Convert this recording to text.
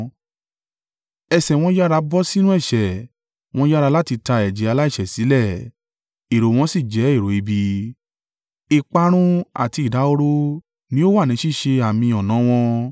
Ẹsẹ̀ wọn yára bọ́ sínú ẹ̀ṣẹ̀; wọ́n yára láti ta ẹ̀jẹ̀ aláìṣẹ̀ sílẹ̀. Èrò wọn sì jẹ́ èrò ibi; ìparun àti ìdahoro ni ó wà ní ṣíṣe àmì ọ̀nà wọn.